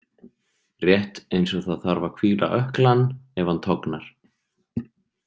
Rétt eins og það þarf að hvíla ökklann ef hann tognar.